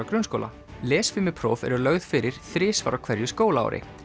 grunnskóla lesfimipróf eru lögð fyrir þrisvar á hverju skólaári